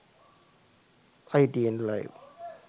itn live